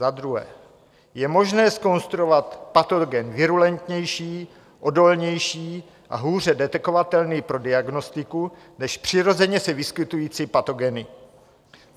Za druhé je možné zkonstruovat patogen virulentnější, odolnější a hůře detekovatelný pro diagnostiku než přirozeně se vyskytující patogeny.